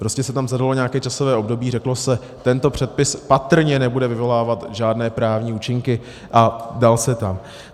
Prostě se tam zadalo nějaké časové období, řeklo se, tento předpis patrně nebude vyvolávat žádné právní účinky a dal se tam.